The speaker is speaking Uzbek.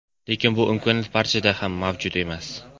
Lekin bu imkoniyat barchada ham mavjud emas.